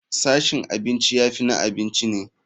Sashin abinci ya fi na abinci ne.